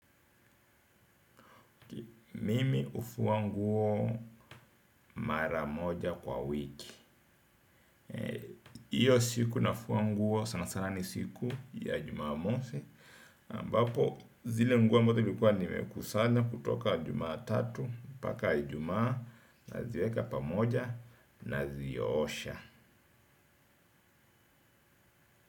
Mimi hufua nguo mara moja kwa wiki. Hiyo siku nafua nguo sana sana ni siku ya jumamosi, ambapo zile nguo ambazo nimekuwa nimekusanya kutoka jumatatu mpaka ijumaa naziweka pamoja, naziosha.